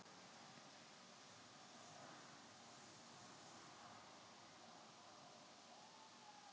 sennilega soðin ýsa og kartöflur Hvað vilt þú fá á pizzuna þína?